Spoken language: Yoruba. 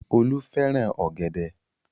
Olú fẹ́ràn ọ̀gẹ̀dẹ̀.